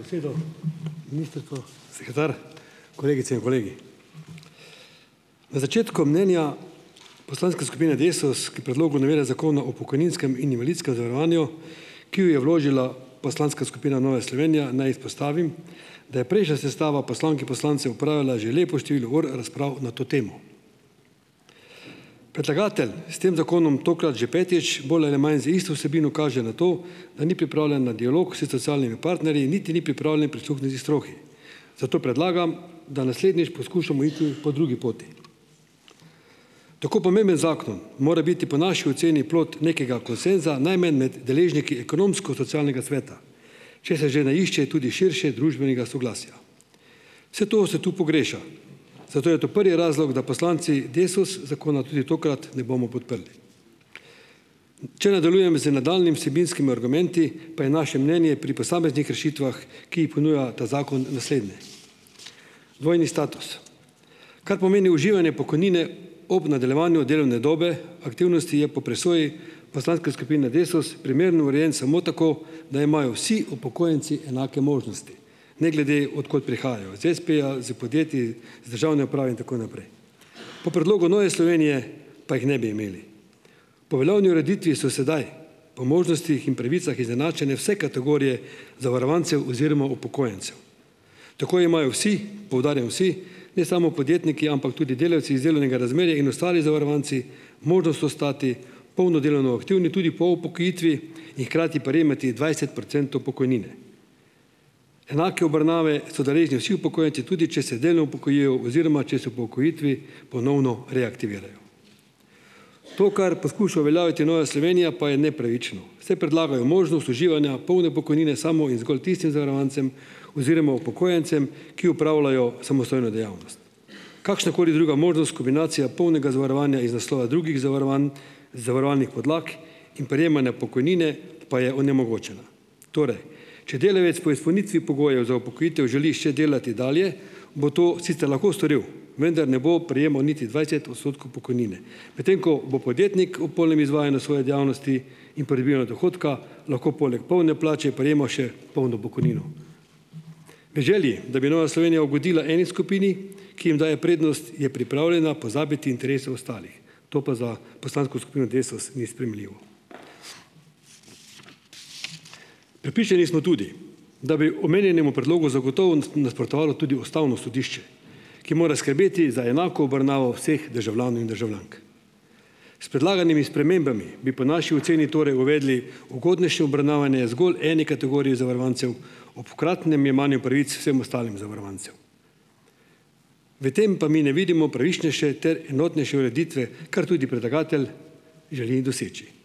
Besedo! Ministrstvo, sekretar, kolegice in kolegi! Na začetku mnenja poslanske skupine Desus, ki predlogu novele zakona o pokojninskem in invalidskem zavarovanju, ki jo je vložila poslanska skupina Nove Slovenija, naj izpostavim, da je prejšnja sestava poslank in poslancev opravila že lepo število ur razprav na to temo. Predlagatelj s tem zakonom tokrat že petič, bolj ali manj z isto vsebino, kaže na to, da ni pripravljen na dialog s socialnimi partnerji, niti ni pripravljen prisluhniti stroki. Zato predlagam, da naslednjič poskušamo iti po drugi poti. Tako pomemben zakon mora biti po naši oceni plod nekega konsenza najmanj med deležniki ekonomsko-socialnega sveta, če se že ne išče tudi širšega družbenega soglasja. Vse to se tu pogreša, zato je to prvi razlog, da poslanci Desus zakona tudi tokrat ne bomo podprli. Če nadaljujem zdaj nadaljnjimi vsebinskimi argumenti, pa je naše mnenje pri posameznih rešitvah, ki ji ponuja ta zakon, naslednje: dvojni status, kar pomeni uživanje pokojnine ob nadaljevanju delovne dobe aktivnosti, je po presoji poslanske skupine Desus primerno urejen samo tako, da imajo vsi upokojenci enake možnosti, ne glede, od kod prihajajo, iz espeja, iz podjetij, iz državne uprave in tako naprej. Po predlogu Nove Slovenije pa jih ne bi imeli. Po veljavni ureditvi so sedaj, po možnostih in pravicah, izenačene vse kategorije zavarovancev oziroma upokojencev. Tako imajo vsi, poudarjam vsi, ne samo podjetniki, ampak tudi delavci iz delovnega razmerja in ostali zavarovanci, možnost ostati polno delovno aktivni tudi po upokojitvi in hkrati prejemati dvajset procentov pokojnine. Enake obravnave so deležni vsi upokojenci, tudi če se zdajle upokojijo oziroma če se po upokojitvi ponovno reaktivirajo. To, kar poskuša uveljaviti Nova Slovenija, pa je nepravično, saj predlagajo možnost uživanja polne pokojnine samo in zgolj tistim zavarovancem oziroma upokojencem, ki opravljajo samostojno dejavnost. Kakšna koli druga možnost, kombinacija polnega zavarovanja iz naslova drugih zavarovanj, zavarovalnih podlag in prejemanja pokojnine, pa je onemogočena. Torej, če delavec po izpolnitvi pogojev za upokojitev želi še delati dalje, bo to sicer lahko storil, vendar ne bo prejemal niti dvajset odstotkov pokojnine. Medtem ko bo podjetnik ob polnem izvajanju svoje dejavnosti in pridobivanju dohodka lahko poleg polne plače prejemal še polno pokojnino. Želje, da bi Nova Slovenija ugodila eni skupini, ki jim daje prednost, je pripravljena pozabiti interese ostalih, to pa za poslansko skupino Desus ni sprejemljivo. Prepričani smo tudi, da bi omenjenemu predlogu zagotovo nasprotovalo tudi ustavno sodišče, ki mora skrbeti za enako obravnavo vseh državljanov in državljank. S predlaganimi spremembami bi po naši oceni torej uvedli ugodnejše obravnavanje zgolj ene kategorije zavarovancev ob hkratnem jemanju pravic vsem ostalim zavarovancev. V tem pa mi ne vidimo pravičnejše ter enotnejše ureditve, kar tudi predlagatelj želi doseči.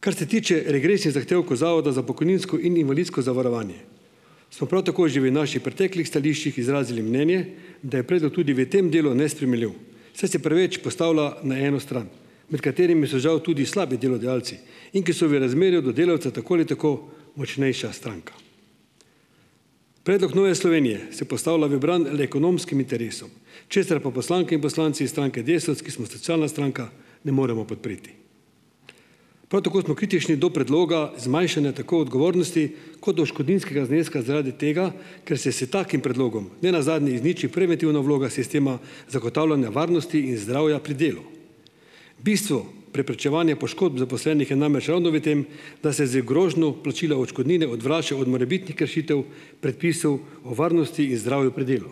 Kar se tiče regresnih zahtevkov Zavoda za pokojninsko in invalidsko zavarovanje, smo prav tako že v naših preteklih stališčih izrazili mnenje, da je predlog tudi v tem delu nesprejemljiv, saj se preveč postavlja na eno stran, med katerimi so žal tudi slabi delodajalci in ki so v razmerju do delavca tako ali tako močnejša stranka. Predlog Nove Slovenije se postavlja v bran ekonomskim interesom, česar pa poslanke in poslanci stranke Desus, ki smo socialna stranka, ne moremo podpreti. Prav tako smo kritični do predloga zmanjšanja tako odgovornosti, kot do odškodninskega zneska zaradi tega, ker se se takim predlogom ne nazadnje izniči preventivna vloga sistema zagotavljanja varnosti in zdravja pri delu. Bistvo preprečevanja poškodb zaposlenih je namreč ravno v tem, da se z grožnjo plačila odškodnine odvrača od morebitnih kršitev, predpisov o varnosti in zdravju pri delu.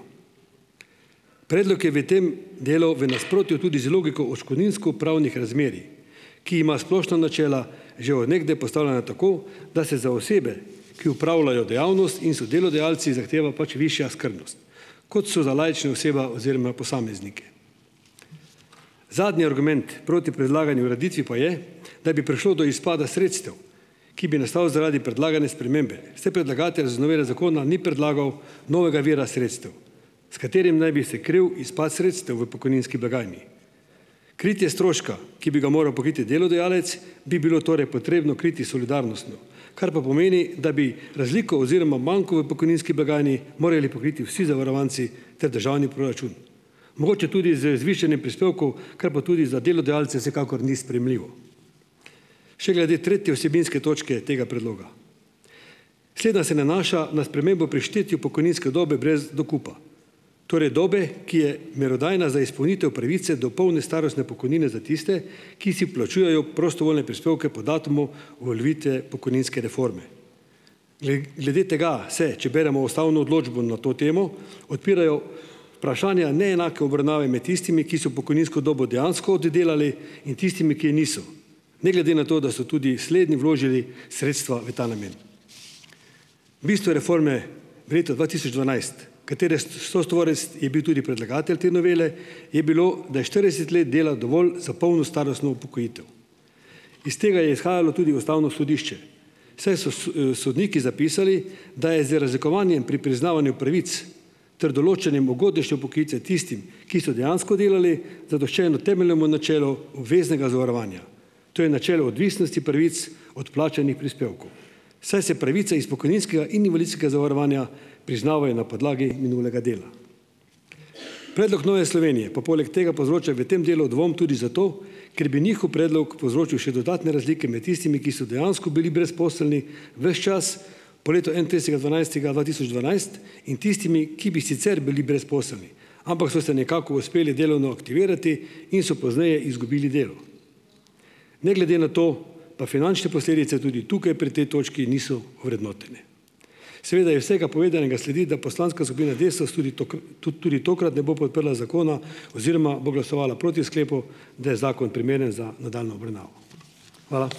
Predlog je v tem delu v nasprotju tudi z logiko odškodninskopravnih razmerij, ki ima splošna načela že od nekdaj postavljena tako, da se za osebe, ki opravljajo dejavnost in so delodajalci, zahteva pač višja skrbnost, kot so za laične oseba oziroma posameznike. Zadnji argument proti predlagani ureditvi pa je, da bi prišlo do izpada sredstev, ki bi nastal zaradi predlagane spremembe, saj predlagatelj z novele zakona ni predlagal novega vira sredstev, s katerim naj bi se kril izpad sredstev v pokojninski blagajni. Kritje stroška, ki bi ga moral pokriti delodajalec, bi bilo torej potrebno kriti solidarnostno, kar pa pomeni, da bi razliko oziroma manko v pokojninski blagajni morali pokriti vsi zavarovanci ter državni proračun, mogoče tudi z zvišanjem prispevkov, kar pa tudi za delodajalce vsekakor ni sprejemljivo. Še glede tretje vsebinske točke tega predloga. Slednja se nanaša na spremembo pri štetju pokojninske dobe brez dokupa, torej dobe, ki je merodajna za izpolnitev pravice do polne starostne pokojnine za tiste, ki si plačujejo prostovoljne prispevke po datumu uveljavitve pokojninske reforme. Glede tega se, če beremo ustavno odločbo na to temo, odpirajo vprašanja neenake obravnave med tistimi, ki so pokojninsko dobil dejansko oddelali, in tistimi, ki je niso. Ne glede na to, da so tudi slednji vložili sredstva v ta namen. Bistvo reforme v letu dva tisoč dvanajst, katere, sotvorec je bil tudi predlagatelj te novele, je bilo, da je štirideset let dela dovolj za polno starostno upokojitev. Iz tega je izhajalo tudi ustavno sodišče, saj so sodniki zapisali, da je zdaj razlikovanjem pri priznavanju pravic ter določenjem ugodnejše upokojitve tistim, ki so dejansko delali, zadoščeno temeljnemu načelu obveznega zavarovanja. To je načelo odvisnosti pravic od plačanih prispevkov, saj se pravice iz pokojninskega in invalidskega zavarovanja priznavajo na podlagi minulega dela. Predlok Nove Slovenije pa poleg tega povzroča v tem delu dvom tudi za to, ker bi njihov predlog povzročil še dodatne razlike med tistimi, ki so dejansko bili brezposelni ves čas, po letu enaintridesetega dvanajstega dva tisoč dvanajst, in tistimi, ki bi sicer bili brezposelni, ampak so se nekako uspeli delovno aktivirati in so pozneje izgubili delo. Ne glede na to, pa finančne posledice tudi tukaj pri tej točki niso vrednotene. Seveda iz vsega povedanega sledi, da poslanska skupina Desus tudi tudi tudi tokrat ne bo podprla zakona oziroma bo glasovala proti sklepu, da je zakon primeren za nadaljnjo obravnavo. Hvala.